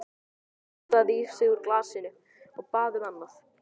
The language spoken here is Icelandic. Gísli sturtaði í sig úr glasinu, og bað um annað.